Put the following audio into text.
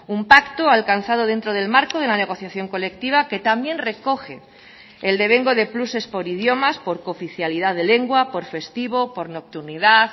un pacto alcanzado dentro del marco de la negociación colectiva que también recoge el devengo de pluses por idiomas por cooficialidad de lengua por festivo por nocturnidad